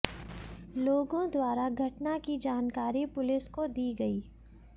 लोगों द्वारा घटना की जानकारी पुलिस को दी गई